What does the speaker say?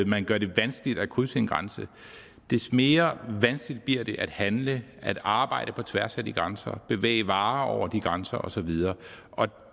man gør det vanskeligt at krydse en grænse desto mere vanskeligt bliver det at handle at arbejde på tværs af de grænser bevæge varer over de grænser og så videre